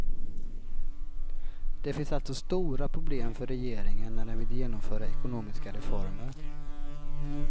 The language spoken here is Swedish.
Det finns alltså stora problem för regeringen när den vill genomföra ekonomiska reformer.